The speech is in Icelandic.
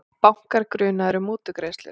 Bankar grunaðir um mútugreiðslur